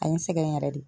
A ye n sɛgɛn yɛrɛ de